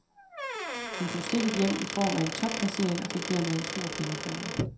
Hun tog stikket hjem i form af en topplacering, og fik dermed en stor pengepræmie.